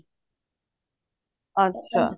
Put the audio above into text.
ਅੱਛਾ